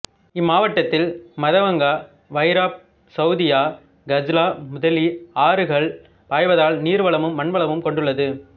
இம்மாவட்டத்தில் மதவங்க வைராப் சௌதியா கஜ்லா முதலி ஆறுகள் பாய்வதால் நீர் வளமும் மண் வளமும் கொண்டுள்ளது